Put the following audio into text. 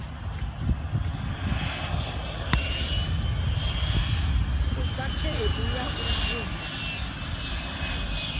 fha khaedu ya u vhumba